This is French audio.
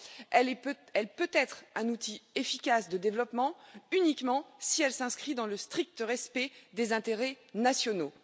Elle peut être un outil efficace de développement, uniquement si elle s'inscrit dans le strict respect des intérêts nationaux.